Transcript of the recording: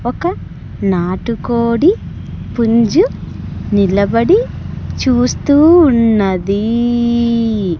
ఒక నాటుకోడి పుంజు నిలబడి చూస్తూ ఉన్నదీ.